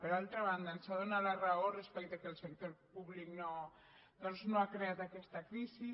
per altra banda ens ha donat la raó respecte que el sector públic doncs no ha creat aquesta crisi